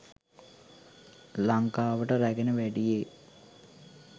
ලංකාවට රැගෙන වැඩියේ